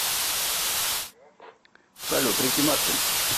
салют рики мартин